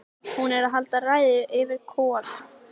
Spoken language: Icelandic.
En þótt það væri albróðir þokunnar var það annars eðlis.